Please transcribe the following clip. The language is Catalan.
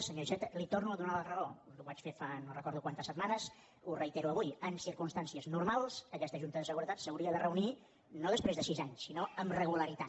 senyor iceta li torno a donar la raó ho vaig fer fa no recordo quantes setmanes ho reitero avui en circumstàncies normals aquesta junta de seguretat s’hauria de reunir no després de sis anys sinó amb regularitat